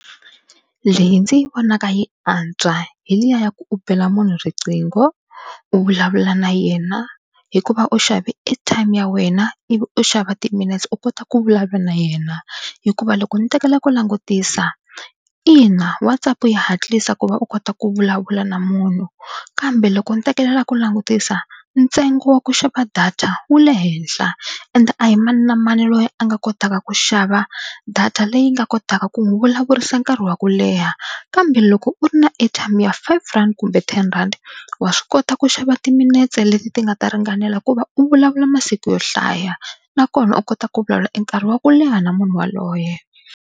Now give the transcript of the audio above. Leyi ndzi yi vonaka yi antswa hi liya ya ku u bela munhu riqingho u vulavula na yena hikuva u xave airtime ya wena ivi u xava timinetse u kota ku vulavula na yena hikuva loko ni tekela ku langutisa ina WhatsApp yi hatlisa ku va u kota ku vulavula na munhu kambe loko ni tekelela ku langutisa ntsengo wa ku xava data wu le henhla ende a hi mani na mani loyi a nga kotaka ku xava data leyi nga kotaka ku n'wi vulavurisa nkarhi wa ku leha kambe loko u ri na airtime ya five rand kumbe ten rand wa swi kota ku xava timinetse leti ti nga ta ringanela ku va u vulavula masiku yo hlaya nakona u kota ku vulavula e nkarhi wa ku leha na munhu waloye.